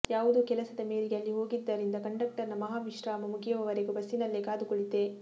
ಯಾವುದೊ ಕೆಲಸದ ಮೇರೆಗೆ ಅಲ್ಲಿ ಹೋಗಿದ್ದರಿಂದ ಕಂಡಕ್ಟರ್ ನ ಮಹಾ ವಿಶ್ರಾಮ ಮುಗಿಯುವವರೆಗೂ ಬಸ್ಸಿನಲ್ಲೇ ಕಾದು ಕುಳಿತೆ